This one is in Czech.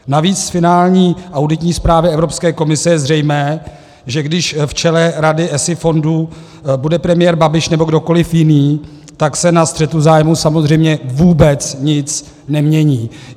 Navíc z finální auditní zprávy Evropské komise je zřejmé, že když v čele rady ESI fondů bude premiér Babiš nebo kdokoli jiný, tak se na střetu zájmů samozřejmě vůbec nic nemění.